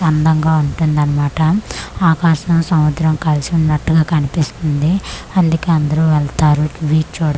అందంగా ఉంటుందన్మాట ఆకాశం సముద్రం కలిసి ఉన్నట్టుగా కన్పిస్తుంది అందుకే అందరూ వెల్తారు బీచ్ చుడ్--